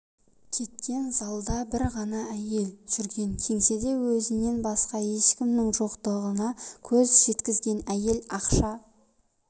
кеткен залда бір ғана әйел жүрген кеңседе өзінен басқа ешкімнің жоқтығына көз жеткізген әйел ақша